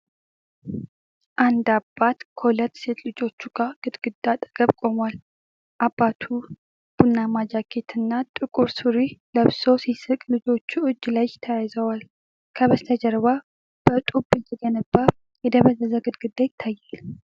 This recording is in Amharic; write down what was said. አንድ አባት ከሁለት ሴት ልጆቹ ጋር ግድግዳ አጠገብ ቆሟል። አባቱ ቡናማ ጃኬት እና ጥቁር ሱሪ ለብሶ ሲስቅ፣ ልጆቹ እጅ ለእጅ ተያይዘዋል። ከበስተጀርባ በጡብ የተገነባ የደበዘዘ ግድግዳ ይታያል።